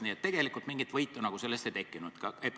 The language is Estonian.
Nii et tegelikult mingit võitu sellest ei tekkinud.